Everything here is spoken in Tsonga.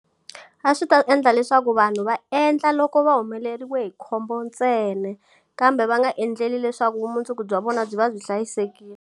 A swi ta endla leswaku vanhu va endla loko va humeleriwe hi khombo ntsena, kambe va nga endleli leswaku vumundzuku bya vona byi va byi hlayisekile.